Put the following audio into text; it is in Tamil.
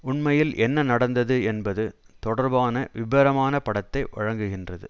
உண்மையில் என்ன நடந்தது என்பது தொடர்பான விபரமான படத்தை வழங்குகின்றது